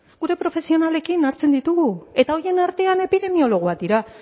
gure profesionalekin hartzen ditugu eta horien artean epidemiologoak dira